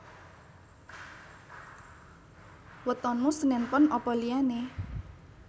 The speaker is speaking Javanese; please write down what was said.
Wetonmu senen pon apa liyane?